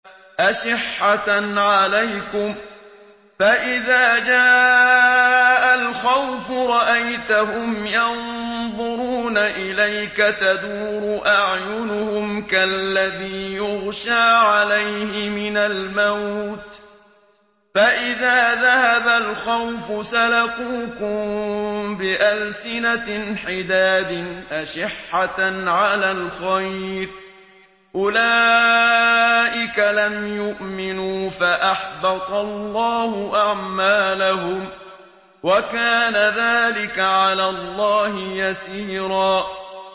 أَشِحَّةً عَلَيْكُمْ ۖ فَإِذَا جَاءَ الْخَوْفُ رَأَيْتَهُمْ يَنظُرُونَ إِلَيْكَ تَدُورُ أَعْيُنُهُمْ كَالَّذِي يُغْشَىٰ عَلَيْهِ مِنَ الْمَوْتِ ۖ فَإِذَا ذَهَبَ الْخَوْفُ سَلَقُوكُم بِأَلْسِنَةٍ حِدَادٍ أَشِحَّةً عَلَى الْخَيْرِ ۚ أُولَٰئِكَ لَمْ يُؤْمِنُوا فَأَحْبَطَ اللَّهُ أَعْمَالَهُمْ ۚ وَكَانَ ذَٰلِكَ عَلَى اللَّهِ يَسِيرًا